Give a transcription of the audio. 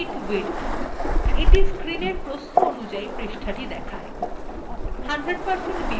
১০০ শতাংশ view পৃষ্ঠাটিকে সেটির প্রকৃত সাইজএ দেখায়